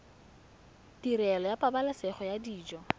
tirelo ya pabalesego ya dijo